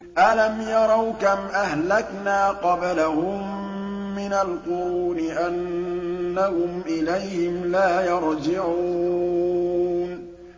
أَلَمْ يَرَوْا كَمْ أَهْلَكْنَا قَبْلَهُم مِّنَ الْقُرُونِ أَنَّهُمْ إِلَيْهِمْ لَا يَرْجِعُونَ